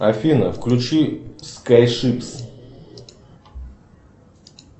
афина включи скай шипс